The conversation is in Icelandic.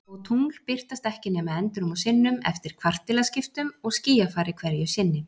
Og tungl birtast ekki nema endrum og sinnum, eftir kvartilaskiptum og skýjafari hverju sinni.